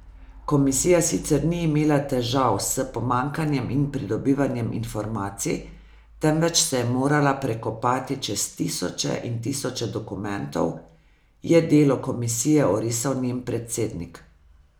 Komisija sicer ni imela težav s pomanjkanjem in pridobivanjem informacij, temveč se je morala prekopati čez tisoče in tisoče dokumentov, je delo komisije orisal njen predsednik.